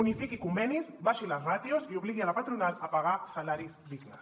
unifiqui convenis abaixi les ràtios i obligui la patronal a pagar salaris dignes